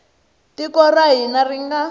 tiko ra hina ri nga